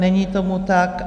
Není tomu tak.